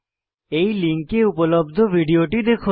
এই লিঙ্কে উপলব্ধ ভিডিওটি দেখুন